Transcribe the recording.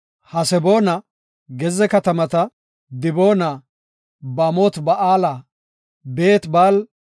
Haseboona, gezze katamata, Diboona, Baamot-Ba7aala, Beet-Baal-Me7oona,